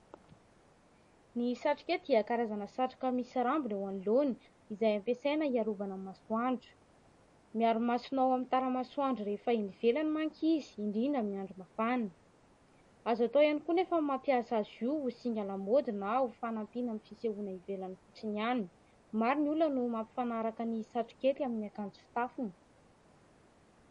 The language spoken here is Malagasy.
Ny satrokety dia karazana satroka misy rambony eo anoloany izay ampiasaina hiarovana ny masoandro. Miaro ny masona amin'ny tara-masoandro rehefa eny ivelany manko izy, indrindra amin'ny andro mafana. Azo atao ihany koa anefa ny mampiasa azy io ho singa lamaody na ho fanampiana amin'ny fisehoana ivelany fotsiny ihany. Maro ny olona no mampifanaraka ny satrokety amin'ny akanjo fitafiny.